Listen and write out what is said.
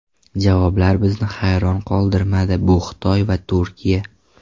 Javoblar bizni hayron qoldirmadi - bu Xitoy va Turkiya.